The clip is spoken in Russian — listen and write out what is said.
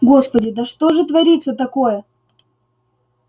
господи да что же творится такое